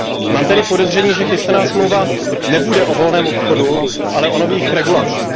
Mám tedy podezření, že chystaná smlouva nebude o volném obchodu, ale o nových regulacích.